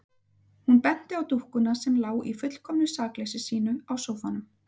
Hún benti á dúkkuna sem lá í fullkomnu sakleysi sínu á sófanum.